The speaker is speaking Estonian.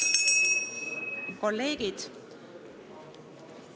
Head kolleegid!